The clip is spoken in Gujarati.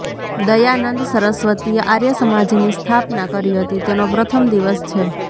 દયાનંદ સરસ્વતીએ આર્ય સમાજની સ્થાપના કરી હતી તેનો પ્રથમ દિવસ છે